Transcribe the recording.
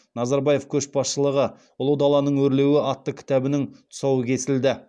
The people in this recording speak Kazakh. назарбаев көшбасшылығы ұлы даланың өрлеуі атты кітабының тұсауы кесілді